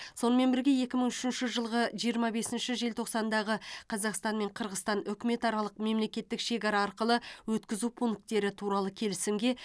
сонымен бірге екі мың үшінші жылғы жиырма бесінші желтоқсандағы қазақстан мен қырғызстан үкіметаралық мемлекеттік шекара арқылы өткізу пункттері туралы келісімге